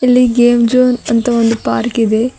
ಅಲ್ಲಿ game zone ಅಂತ ಒಂದು ಪಾರ್ಕ್ ಇದೆ.